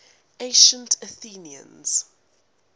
ancient athenians